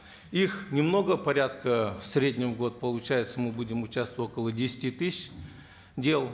их немного порядка в среднем в год получается мы будем участвовать около десяти тысяч дел